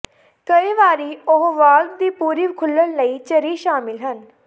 ਕਈ ਵਾਰੀ ਉਹ ਵਾਲਵ ਦੀ ਪੂਰੀ ਖੁੱਲਣ ਲਈ ਝਰੀ ਸ਼ਾਮਿਲ ਹਨ